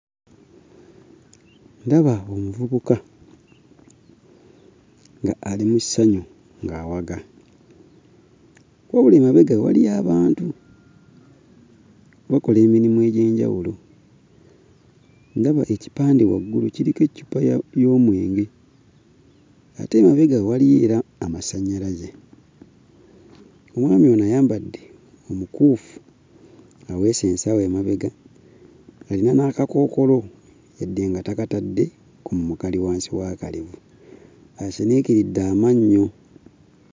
Ndaba omuvubuka ng'ali mu ssanyu ng'awaga. Wabula emabega we waliyo abantu bakola emirimu egy'enjawulo. Ndaba ekipande waggulu kuliko eccupa y'omwenge, ate emabega we waliyo era amasannyalaze. Omwami ono ayambadde omukuufu, aweese nnsawo ku mabega. Alina n'akakookoolo yadde nga takatadde ku mumwa kali wansi w'akalevu. Asiniikiridde amannyo!